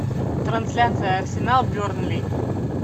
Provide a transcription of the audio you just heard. трансляция арсенал бернли